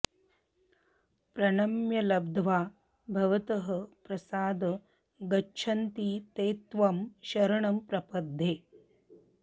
प्रणम्य लब्ध्वा भवतः प्रसाद गच्छन्ति ते त्वं शरणं प्रपद्ये